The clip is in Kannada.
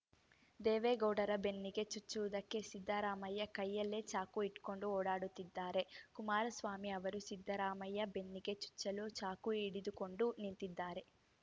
ದೇವೇಗೌಡರ ಬೆನ್ನಿಗೆ ಚುಚ್ಚುವುದಕ್ಕೆ ಸಿದ್ದರಾಮಯ್ಯ ಕೈಯಲ್ಲೇ ಚಾಕು ಇಟ್ಕೊಂಡು ಓಡಾಡುತ್ತಿದ್ದಾರೆ ಕುಮಾರಸ್ವಾಮಿ ಅವರು ಸಿದ್ದರಾಮಯ್ಯ ಬೆನ್ನಿಗೆ ಚುಚ್ಚಲು ಚಾಕು ಹಿಡಿದುಕೊಂಡು ನಿಂತಿದ್ದಾರೆ